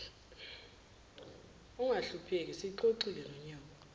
ungahlupheki siyixoxile nonyoko